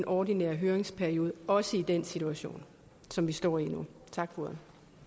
ordinære høringsperiode også i den situation som vi står i nu tak for